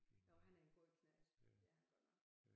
Jo han er en god knægt det er han godt nok